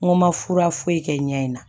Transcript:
N ko n ma fura foyi kɛ n ɲɛ in na